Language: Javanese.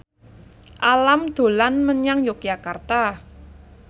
Alam dolan menyang Yogyakarta